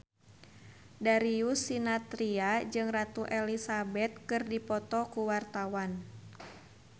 Darius Sinathrya jeung Ratu Elizabeth keur dipoto ku wartawan